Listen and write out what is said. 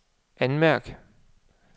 anmærk